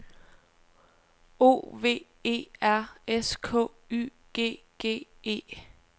O V E R S K Y G G E